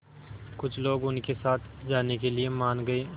कुछ लोग उनके साथ जाने के लिए मान गए